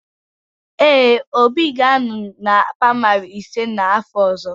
Ee, Obi ga-anọ na praịmarị ise n'afọ ọzọ.